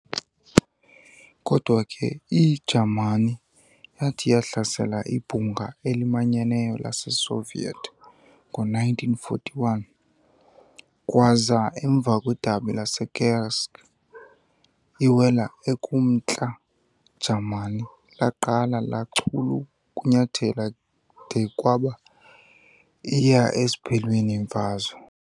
Kodwa ke, iJaamani yathi yahlasela ibhunga elimanyeneyo laseSoviet ngo-1941 kwaza, emva kwedabi laseKursk, iwela ekumntla Jamani laqala lachul'ukunyathela de kwaba iya esiphelweni imfazwe.